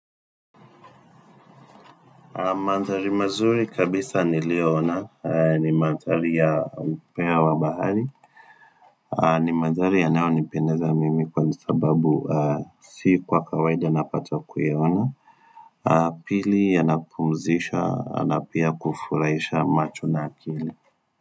Manthari mazuri kabisa ni liyoona, ni manthari ya upeo wa bahari, ni manthari yanayo nipendeza mimi kwani sababu si kwa kawaida na pata kuyaona, pili ya napumzisha na pia kufurahisha macho na akili.